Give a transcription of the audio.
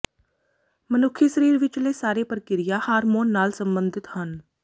ਮਨੁੱਖੀ ਸਰੀਰ ਵਿਚਲੇ ਸਾਰੇ ਪ੍ਰਕ੍ਰਿਆ ਹਾਰਮੋਨ ਨਾਲ ਸਬੰਧਿਤ ਹਨ